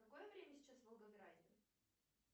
какое время сейчас в волгограде